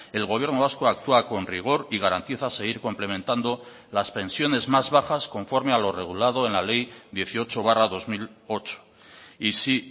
el gobierno vasco actúa con rigor y garantiza seguir complementando las pensiones más bajas conforme a lo regulado en la ley dieciocho barra dos mil ocho y sí